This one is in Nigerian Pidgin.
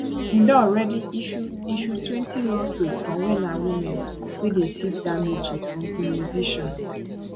im don already issue issuetwentylawsuits from men and women wey dey seek damages from di musician